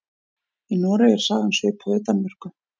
Í Noregi er sagan svipuð og í Danmörku.